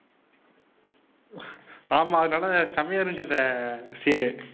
ஆமாம் அது நல்லா செமையா இருந்துச்சு அந்த scene உ